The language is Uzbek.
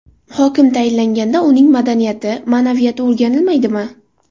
Hokim tayinlanganda uning madaniyati, ma’naviyati o‘rganilmaydimi?